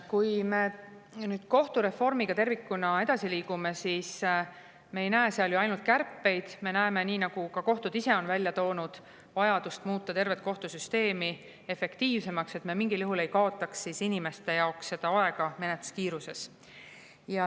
Kui me nüüd kohtureformiga tervikuna edasi liigume, siis me ei näe seal ette ju ainult kärpeid, vaid me näeme, nii nagu ka kohtud ise on välja toonud, vajadust muuta tervet kohtusüsteemi efektiivsemaks, et me mingil juhul ei kaotaks inimeste jaoks aega menetluses.